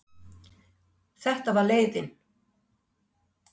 Þetta var leiðin.